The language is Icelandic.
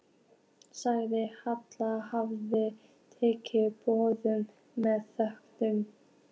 Sagðist Hallkell hafa tekið boðinu með þökkum.